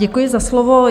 Děkuji za slovo.